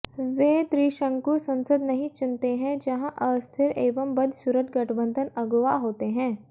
वे त्रिशंकु संसद नहीं चुनते है जहां अस्थिर एवं बदसूरत गठबंधन अगुवा होते हैं